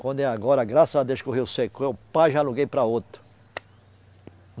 Quando é agora, graças a Deus que o rio secou, eu pá, já aluguei para outro.